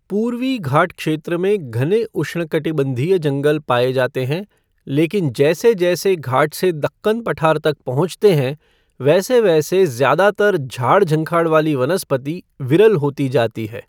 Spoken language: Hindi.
पूर्वी घाट क्षेत्र में घने उष्णकटिबंधीय जंगल पाए जाते हैं, लेकिन जैसे जैसे घाट से दक्कन पठार तक पहुँचते हैं वैसे वैसे ज़्यादातर झाड़ झंखाड़ वाली वनस्पति विरल होती जाती है।